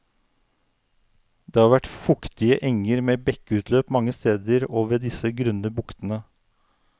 Det har vært fuktige enger med bekkeutløp mange steder i og ved disse grunne buktene.